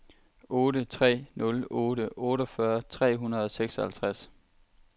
otte tre nul otte otteogfyrre tre hundrede og seksoghalvtreds